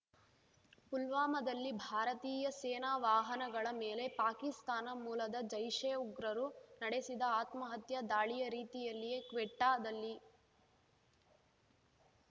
ಪುಲ್ವಾಮಾದಲ್ಲಿ ಭಾರತೀಯ ಸೇನಾ ವಾಹನಗಳ ಮೇಲೆ ಪಾಕಿಸ್ತಾನ ಮೂಲದ ಜೈಷೆ ಉಗ್ರರು ನಡೆಸಿದ ಆತ್ಮಹತ್ಯಾ ದಾಳಿಯ ರೀತಿಯಲ್ಲಿಯೇ ಕ್ವೆಟ್ಟಾದಲ್ಲಿ